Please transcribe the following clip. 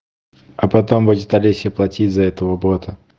а потом будет алесе платить за этого бота